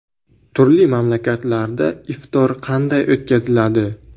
Turli mamlakatlarda iftor qanday o‘tkaziladi?